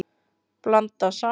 Blandað saman.